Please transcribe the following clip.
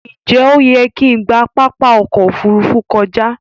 Njé oyè kín gbà Pápá okò ofurufu kọjá?